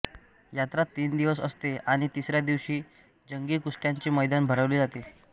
यात्रा तीन दिवस असते आणि तिसऱ्या दिवशी जंगी कुस्त्यांचे मैदान भरवले जाते